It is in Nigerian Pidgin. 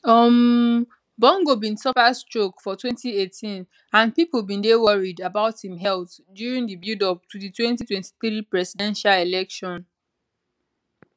um bongo bin suffer stroke for 2018 and pipo bin dey worried about im health during di buildup to di 2023 presidential election